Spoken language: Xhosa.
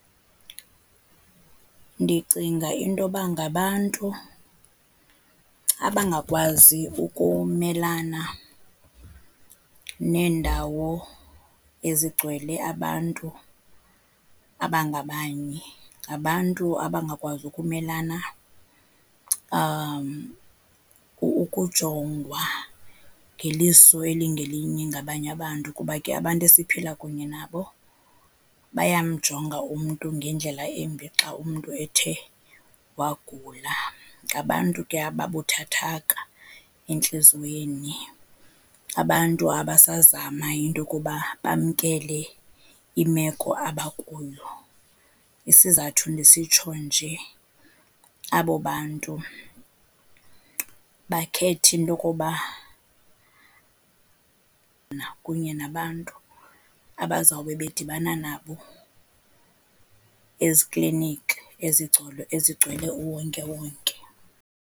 Ndicinga into yoba ngabantu abangakwazi ukumelana neendawo ezigcwele abantu abangabanye, ngabantu abangakwazi ukumelana ukujongwa ngeliso elingelinye ngabanye abantu kuba ke abantu esiphila kunye nabo bayamjonga umntu ngendlela embi xa umntu ethe wagula. Ngabantu ke ababuthathaka entliziyweni, abantu abasazama into okuba bamkele imeko abakuyo. Isizathu ndisitsho nje, abo bantu bakhetha into okuba kunye nabantu abazawube bedibana nabo ezikliniki ezigcwele uwonkewonke.